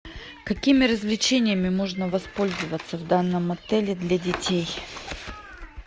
какими развлечениями можно воспользоваться в данном отеле для детей